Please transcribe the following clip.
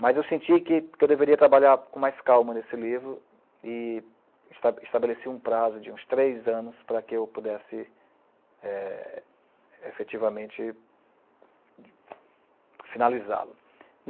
Mas eu senti que que eu deveria trabalhar com mais calma nesse livro e esta estabeleci um prazo de uns três anos para que eu pudesse eh, efetivamente finalizá-lo.